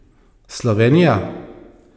Slovenija?